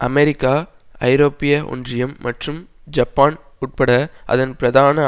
America ஐரோப்பிய ஒன்றியம் மற்றும் ஜப்பான் உட்பட அதன் பிரதான